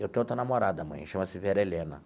Eu tenho outra namorada, mãe, chama-se Vera Helena.